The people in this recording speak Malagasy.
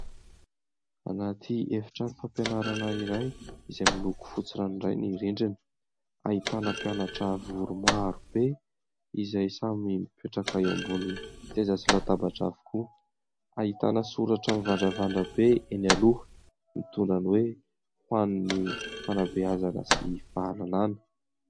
Anaty efitrano fampianarana iray izay miloko fotsy rano iray ny rindrina. Ahitana mpianatra vory maro be izay samy mipetraka eo ambony seza sy latabatra avokoa. Ahitana soratra mivandravandra be eny aloha mitondra ny hoe ho any fanabeazana sy fahalalàna.